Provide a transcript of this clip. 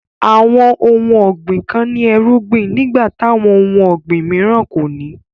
Awọn ọ̀hun ọ̀gbin kàn ní èrùgbìn nígbà t'awọn ọ̀hun ọ̀gbin m̀ìràn kòní.